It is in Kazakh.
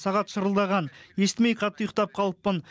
сағат шырылдаған естімей қатты ұйықтап қалыппын